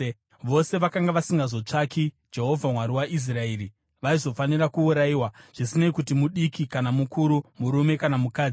Vose vakanga vasingazotsvaki Jehovha, Mwari waIsraeri, vaizofanira kuurayiwa, zvisinei kuti mudiki kana mukuru, murume kana mukadzi.